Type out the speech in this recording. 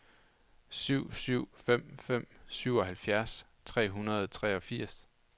syv syv fem fem syvoghalvfjerds tre hundrede og treogfirs